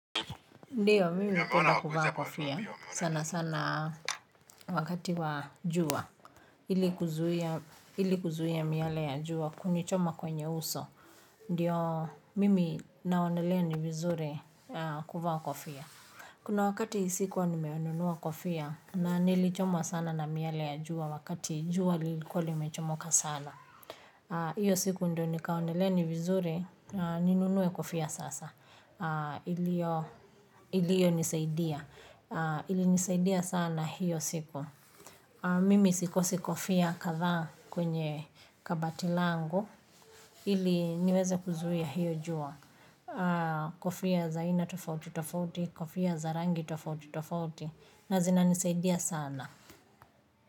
Ndio, mimi napenda kuvaa kofia sana sana wakati wa jua ili kuzuia miale ya jua kunichoma kwenye uso. Ndiyo mimi naonelea ni vizuri kuvaa kofia. Kuna wakati sikuwa nimenunua kofia na nilichomwa sana na miale ya jua wakati jua lilikuwa limechomoka sana. Iyo siku ndo nikaonelea ni vizuri ninunue kofia sasa. Iliyonisaidia, ilinisaidia sana hiyo siku mimi sikosi kofia kadhaa kwenye kabati langu ili niweze kuzuia hiyo jua kofia za aina tofauti tofauti kofia za rangi tofauti tofauti na zinanisaidia sana.